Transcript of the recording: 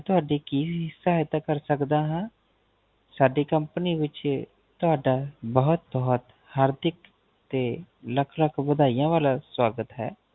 ਮੈ ਤੁਹਾਡੀ ਕੀ ਸਹਾਇਤਾ ਕਰ ਸਕਦਾ ਹਾਂ ਸਾਡੀ Company ਵਿੱਚ ਤੁਹਾਡਾ ਬਹੁਤ ਬਹੁਤ ਹਾਰਦਿਕ ਤੇ ਲਖ ਲਖ ਵਧਾਈਆਂ ਵਾਲਾ ਸਵਾਗਤ ਹੈ